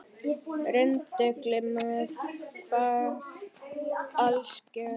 Rindill með svart alskegg